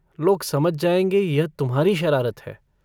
लोग समझ जाएंगे यह तुम्हारी शरारत है।